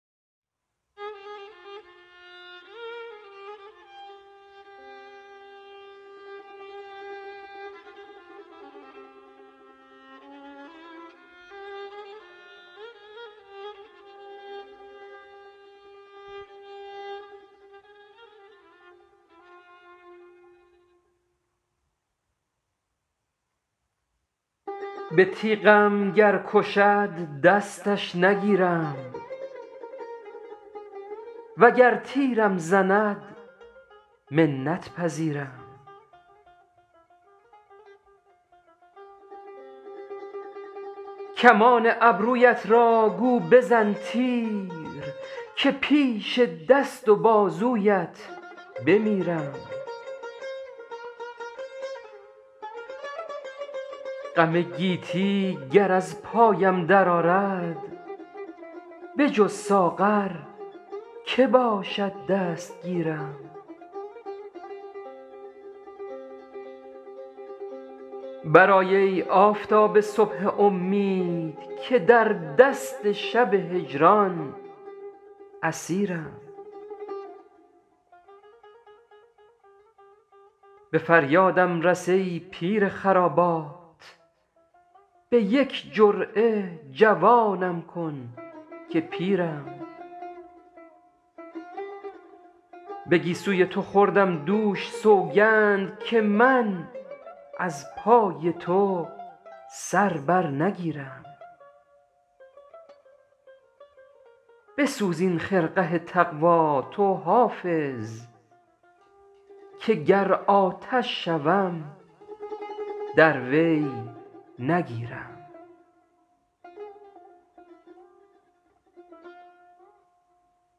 به تیغم گر کشد دستش نگیرم وگر تیرم زند منت پذیرم کمان ابرویت را گو بزن تیر که پیش دست و بازویت بمیرم غم گیتی گر از پایم درآرد بجز ساغر که باشد دستگیرم برآی ای آفتاب صبح امید که در دست شب هجران اسیرم به فریادم رس ای پیر خرابات به یک جرعه جوانم کن که پیرم به گیسوی تو خوردم دوش سوگند که من از پای تو سر بر نگیرم بسوز این خرقه تقوا تو حافظ که گر آتش شوم در وی نگیرم